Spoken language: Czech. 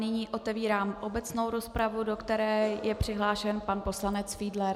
Nyní otevírám obecnou rozpravu, do které je přihlášen pan poslanec Fiedler.